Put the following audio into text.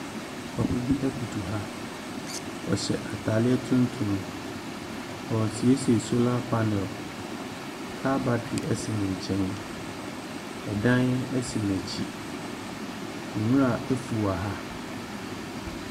Papa bi koto ha. Ɔhyɛ atareɛ tuntum ɔresiesie solar panel. Car battery si ne nkyɛn. Dan si n'akyi. Nwura afu wɔ ha.